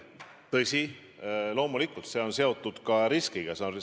Tõsi, loomulikult see on seotud ka riskiga.